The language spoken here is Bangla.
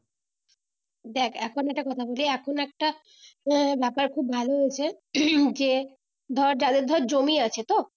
দেখ এখন একটা কথা বলি এখন একটা এ ব্যাপার খুব ভালো হচ্ছে যে ধর যাদের ধর জমি আছে তো